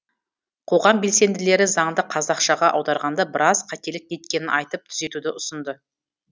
қоғам белсенділері заңды қазақшаға аударғанда біраз қателік кеткенін айтып түзетуді ұсынды